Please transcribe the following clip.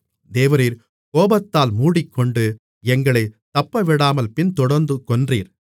தேவரீர் கோபத்தால் மூடிக்கொண்டு எங்களைத் தப்பவிடாமல் பின்தொடர்ந்து கொன்றீர்